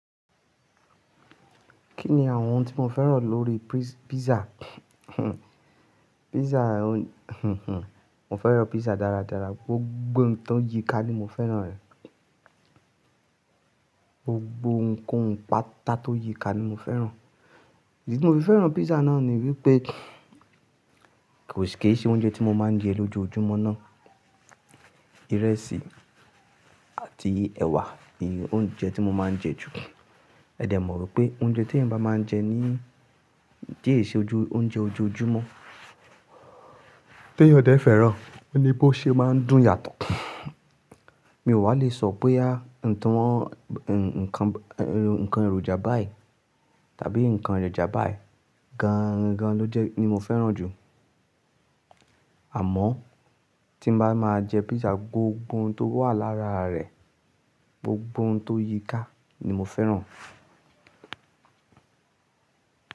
Kí ni àwọn ohun tí mo fẹ́ràn lórí pisa? Pisa mo fẹ́ràn pisa dáradára, gbogbo ohun tó yíikà ni mo fẹ́ràn rẹ̀. Gbogbo nǹkan pata tó yíikà ni mo fẹ́ràn. Ìdí tí mo fi fẹ́ràn pisa náà ni wípé kò ṣe oúnjẹ tí mo máa ń jẹ lójoojúmọ́ ná. Ìrẹsì àti ẹ̀wà ni oúnjẹ tí mo máa ń jẹ jù. Ẹ̀dẹ̀ mọ̀ pé oúnjẹ tí ẹ̀yan bá máa ń jẹ ní ti ẹ̀ ṣe oúnjẹ ojoojúmọ́, tí ẹyan dẹ̀ fẹ́ràn oni bó ṣe máa ń dùn yàtọ̀. Mi ò wá lè sọ boya nǹkan èròjà báyìí tàbí nǹkan èròjà báyìí gan gan ló jẹ́ ni mo fẹ́ràn jù. Àmọ́ tí n bá máa jẹ pisa gbogbo ohun tó wà lára rẹ̀, gbogbo ohun tó yíikà ni mo fẹ́ràn.